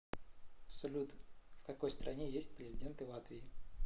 салют в какой стране есть президенты латвии